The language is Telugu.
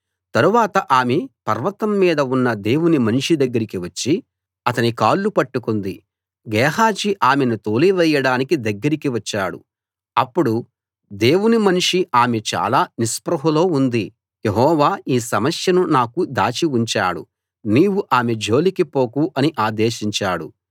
తరువాత ఆమె పర్వతం మీద ఉన్న దేవుని మనిషి దగ్గరికి వచ్చి అతని కాళ్ళు పట్టుకుంది గేహజీ ఆమెను తోలివేయడానికి దగ్గరికి గా వచ్చాడు అప్పుడు దేవుని మనిషి ఆమె చాలా నిస్పృహలో ఉంది యెహోవా ఈ సమస్యను నాకు దాచి ఉంచాడు నీవు ఆమె జోలికి పోకు అని ఆదేశించాడు